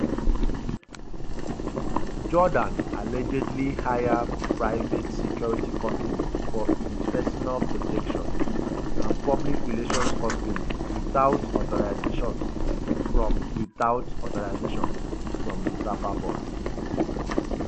jordaan allegedly hire private security company for im personal protection and public relations company witout authorisation from witout authorisation from di safa board.